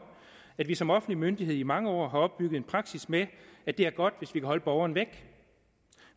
at man som offentlig myndighed i mange år har opbygget en praksis med at det er godt hvis man kan holde borgeren væk